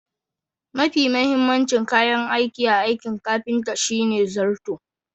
Mafi mahimmancin kayan aiki a aikin kafinta shine zarto